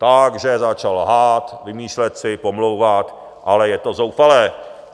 Takže začal lhát, vymýšlet si, pomlouvat, ale je to zoufalé.